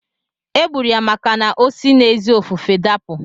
E gburu ya maka na osi n'ezi ofufe dapụ.